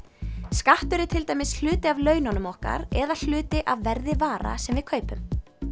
skattur er til dæmis hluti af laununum okkar eða hluti af verði vara sem við kaupum